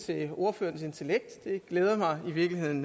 til ordførerens intellekt det glæder mig i virkeligheden